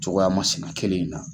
Cogoya masina kelen in na.